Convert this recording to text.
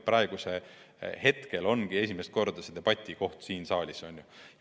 Praegu ongi esimest korda see debatikoht siin saalis tekkinud.